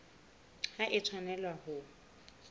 ha e a tshwanela ho